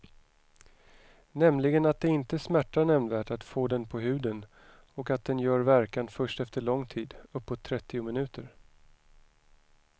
Nämligen att det inte smärtar nämnvärt att få den på huden och att den gör verkan först efter lång tid, uppåt trettio minuter.